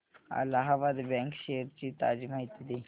Allahabad bank shares ची ताजी माहिती दे